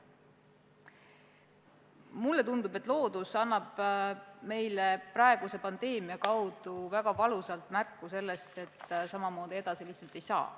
Mulle tundub, et loodus annab meile praeguse pandeemia kaudu väga valusalt märku sellest, et samamoodi edasi lihtsalt ei saa.